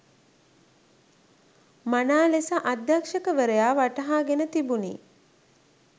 මනා ලෙස අධ්‍යක්ෂවරයා වටහාගෙන තිබුණි